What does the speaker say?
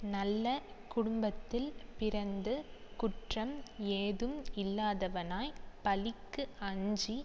நல்ல குடும்பத்தில் பிறந்து குற்றம் ஏதும் இல்லாதவனாய்ப் பழிக்கு அஞ்சி